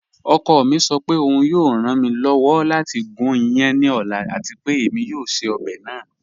Ọkọ mi sọ pé ọun yọọ ran mi lọ́wọ́ lati gún ìyán ní ọ̀la àti pé èmi yọọ ṣẹ̀ ọbẹ naa.